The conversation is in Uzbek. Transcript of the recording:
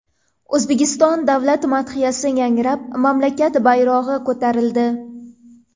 O‘zbekiston davlat madhiyasi yangrab, mamlakat bayrog‘i ko‘tarildi.